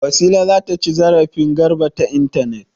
Wasila za ta ci zarafin Garba ta intanet.